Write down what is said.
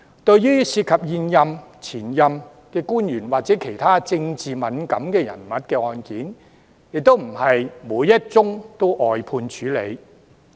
對於涉及現任、前任官員或其他政治敏感人物的案件，亦非每一宗也會外判處理。